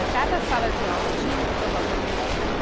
Em cada sala de aula tinha provavelmente alguém.